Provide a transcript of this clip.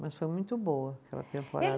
Mas foi muito boa aquela temporada.